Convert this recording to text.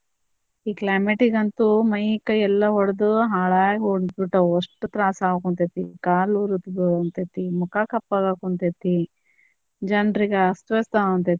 ಈ climate ಗ್ ಅಂತು ಮೈ ಕೈ ಎಲ್ಲಾ ಒಡ್ದು ಹಾಳಾಗಿ ಹೊಂಟ್ ಬಿಟ್ಟಾವ ಅಷ್ಟ ತ್ರಾಸ ಆಗಾಕುಂತ್ತೆತಿ, ಕಾಲ ಉರದ ಮುಖಾ ಕಪ್ಪ್ ಆಗಾಕ ಕುಂತೇತಿ ಜನರಿಗ ಅಸ್ತವ್ಯಸ್ತ ಆಗಕುಂತೇತಿ.